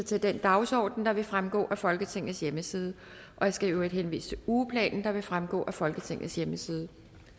til den dagsorden der vil fremgå af folketingets hjemmeside jeg skal henvise til ugeplanen der også vil fremgå af folketingets hjemmeside